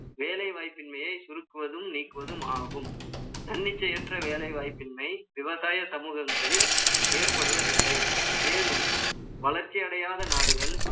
வேலை வாய்ப்பின்மையை, சுருக்குவதும், நீக்குவதும் ஆகும் தன்னிச்சையற்ற வேலைவாய்ப்பின்மை, விவசாய சமூகங்களில், ஏற்படுவதில்லை. மேலும், வளர்ச்சி அடையாத நாடுகள்